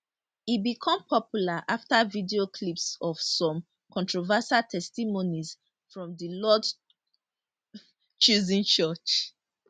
e become popular afta video clips of some controversial testimonies from di lord chosen church